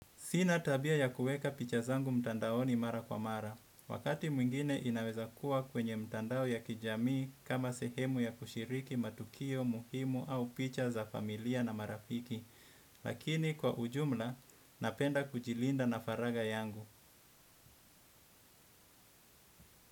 Sina tabia ya kuweka picha zangu mtandao ni mara kwa mara. Wakati mwingine inaweza kuwa kwenye mtandao ya kijamii kama sehemu ya kushiriki matukio, muhimu au picha za familia na marafiki. Lakini kwa ujumla, napenda kujilinda na faraga yangu.